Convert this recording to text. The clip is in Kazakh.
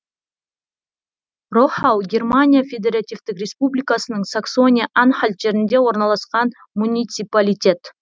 рохау германия федеративтік республикасының саксония анхальт жерінде орналасқан муниципалитет